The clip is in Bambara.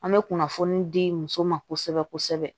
An bɛ kunnafoni di muso ma kosɛbɛ kosɛbɛ